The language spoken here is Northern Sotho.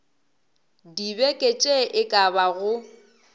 dibeke tše e ka bago